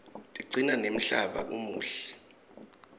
tiqcina nemhlaba umuhle